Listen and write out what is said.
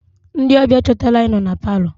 Ndị ọbịa chọtara anyị nọ na palọ.